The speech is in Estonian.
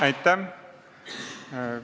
Aitäh!